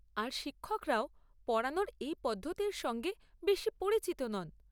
আর শিক্ষকরাও পড়ানোর এই পদ্ধতির সঙ্গে বেশি পরিচিত নন।